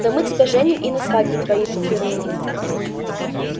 да мы тебя женим и на свадьбе твоей попируем